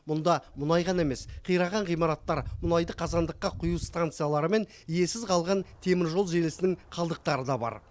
мұнда мұнай ғана емес қираған ғимараттар мұнайды қазандыққа құю станциялары мен иесіз қалған теміржол желісінің қалдықтары да бар